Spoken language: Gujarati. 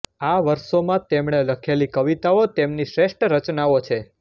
આ વર્ષોમાં તેમણે લખેલી કવિતાઓ તેમની શ્રેષ્ઠ રચનાઓ છે